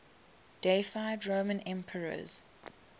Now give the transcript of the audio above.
deified roman emperors